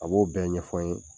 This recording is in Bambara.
A b'o bɛɛ ɲɛfɔ n ye.